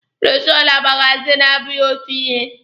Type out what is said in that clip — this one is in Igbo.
Bụrọshoo na magazini abụghị otu ihe.